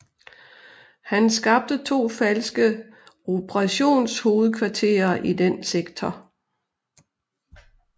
Han skabte to falske operationshovedkvarterer i den sektor